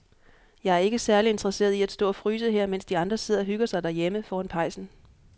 Jeg er ikke særlig interesseret i at stå og fryse her, mens de andre sidder og hygger sig derhjemme foran pejsen.